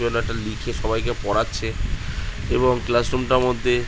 লিখে সবাইকে পড়াচ্ছে এবং ক্লাসরুম টার মধ্যে --